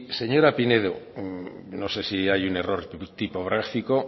señora pinedo no sé si hay un error tipográfico